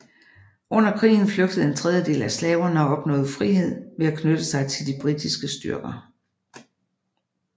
Under krigen flygtede en tredjedel af slaverne og opnåede frihed ved at knytte sig til de britiske styrker